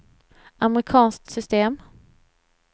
amerikanskt system